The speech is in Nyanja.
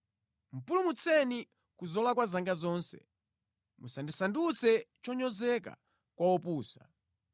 Pulumutseni ku zolakwa zanga zonse; musandisandutse chonyozeka kwa opusa.